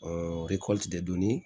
donni